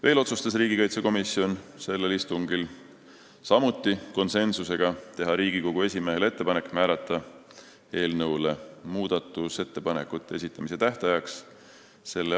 Veel otsustas riigikaitsekomisjon sellel istungil teha Riigikogu esimehele ettepaneku määrata eelnõule muudatusettepanekute esitamise tähtajaks s.